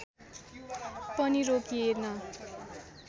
पनि रोकिएन